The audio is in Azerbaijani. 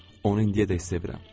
Onu indiyədək sevirəm.